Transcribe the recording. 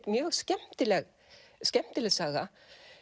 mjög skemmtileg skemmtileg saga